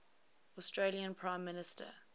australian prime minister